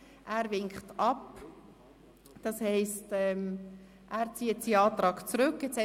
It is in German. Er winkt ab, das heisst, er zieht seinen Antrag zurück.